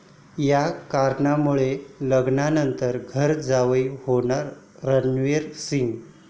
या कारणामुळे, लग्नानंतर घर जावई होणार रणवीर सिंग